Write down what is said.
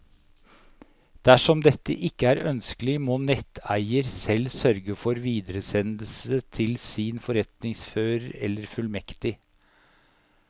Dersom dette ikke er ønskelig, må netteier selv sørge for videresendelse til sin forretningsfører eller fullmektig.